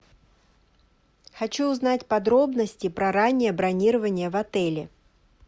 хочу узнать подробности про раннее бронирование в отеле